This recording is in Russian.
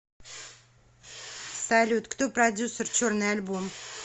салют кто продюссер черный альбом